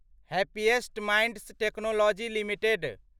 happiest Minds Technology limited